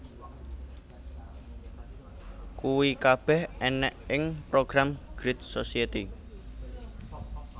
Kuwi kabeh ènèk ing program Great Society